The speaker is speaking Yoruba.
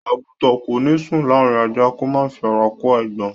Àgùtàn kò ní sùn láàrín ajá, kó má fi ara kó eégbọn.